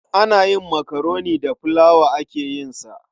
Ana yin makaroni da filawa ake yin sa.